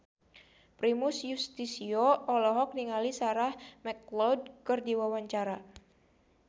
Primus Yustisio olohok ningali Sarah McLeod keur diwawancara